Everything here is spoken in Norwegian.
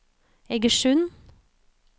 Egersund